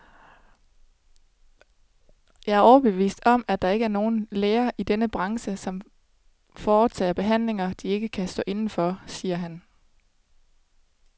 Jeg er overbevist om, at der ikke er nogen læger i denne branche, som foretager behandlinger, de ikke kan stå inde for, siger han.